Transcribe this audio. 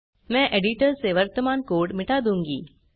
मैं एडिटर से वर्तमान कोड़ मिटा दूँगी